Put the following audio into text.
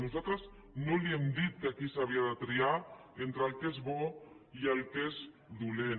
nosaltres no li hem dit que aquí s’havia de triar entre el que és bo i el que és dolent